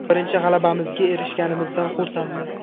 Birinchi g‘alabamizga erishganimizdan xursandmiz.